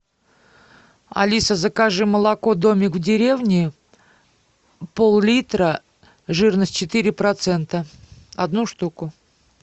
алиса закажи молоко домик в деревне пол литра жирность четыре процента одну штуку